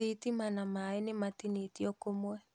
Thitima na maĩ nĩmatinĩtio kũmwe.